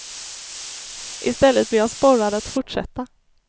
I stället blir jag sporrad att fortsätta.